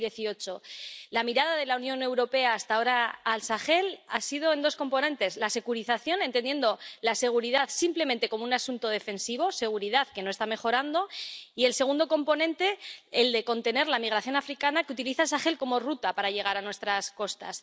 2018. La mirada de la Unión Europea hasta ahora al Sahel ha tenido dos componentes el primero, la securización, entendiendo la seguridad simplemente como un asunto defensivo, seguridad que no está mejorando, y, el segundo componente, la contención de la migración africana que utiliza el Sahel como ruta para llegar a nuestras costas.